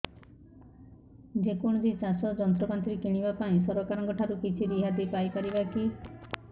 ଯେ କୌଣସି ଚାଷ ଯନ୍ତ୍ରପାତି କିଣିବା ପାଇଁ ସରକାରଙ୍କ ଠାରୁ କିଛି ରିହାତି ପାଇ ପାରିବା କି